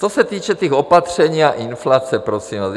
Co se týče těch opatření a inflace, prosím vás.